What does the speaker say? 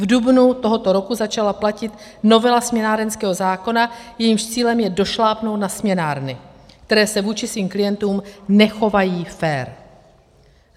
V dubnu tohoto roku začala platit novela směnárenského zákona, jejímž cílem je došlápnout na směnárny, které se vůči svým klientům nechovají fér.